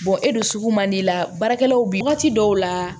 e don sugu man di i la baarakɛlaw bi waati dɔw la